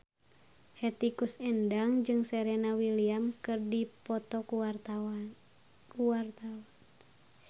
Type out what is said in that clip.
Hetty Koes Endang jeung Serena Williams keur dipoto ku wartawan